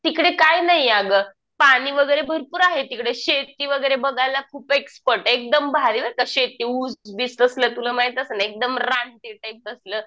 तिकडे काय नाही अगं पाणी वगैरे भरपूर आहे तिकडं शेती वगैरे बघायला खूप आहे एकदम भारी बरं का शेती ऊस बीस कसलं तुला माहित असेल रानटी टाईप तसलं.